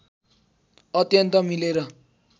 अत्यन्त मिलेर